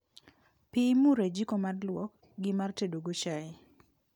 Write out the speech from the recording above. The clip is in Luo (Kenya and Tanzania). Pii imuro e jiko mar luok, gi mar tedo go chai